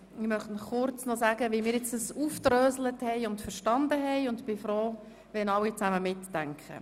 Ich möchte Ihnen noch kurz mitteilen, wie wir das Abstimmungsprocedere verstanden haben, und ich bitte alle, mitzudenken.